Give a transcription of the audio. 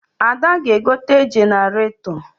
Ada ga-egote jeneratọ